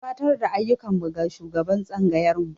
Mun gabatar da ayyukan mu ga shugaban tsangayarmu.